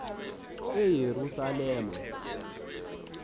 eyerusalem